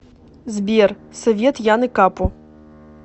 сбер совет яны капу